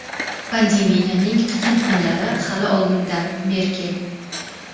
Pandemiyaning qiyin kunlari hali oldinda – Merkel.